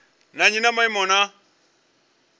na nnyi ya maimo na